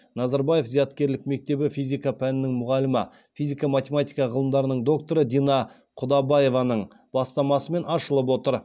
назарбаев зияткерлік мектебі физика пәнінің мұғалімі физика математика ғылымдарының докторы дина құдабаеваның бастамасымен ашылып отыр